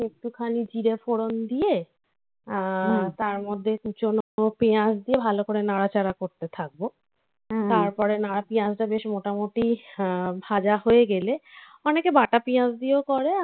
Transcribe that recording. খানি জিরে ফোড়ন দিয়ে তার মধ্যে কুচনো পেঁয়াজ দিয়ে ভালো করে নাড়াচাড়া করতে থাকবো. হুম. তারপরে নাড়া পেঁয়াজটা বেশ মোটামুটি আ ভাজা হয়ে গেলে অনেকে বাটা পেঁয়াজ দিয়েও করে